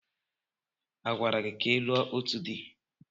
A gwara gị ka ị lụọ òtù di?